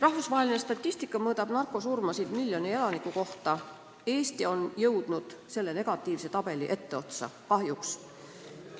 Rahvusvaheline statistika mõõdab narkosurmasid miljoni elaniku kohta, Eesti on jõudnud selle negatiivse tabeli etteotsa, kahjuks.